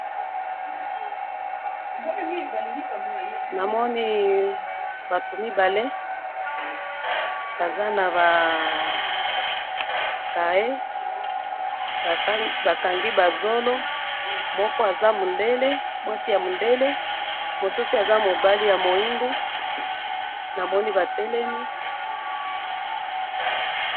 namoni bato mibale, baza na ba cahiers, ba kangi ba zolo, moko aza mundele, mwasi ya mundele, mosusu aza mobali ya moindo, namoni ba telemi